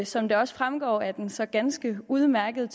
som det også fremgår af den så ganske udmærkede